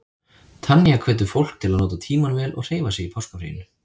Tanya hvetur fólk til að nota tímann vel og hreyfa sig í páskafríinu.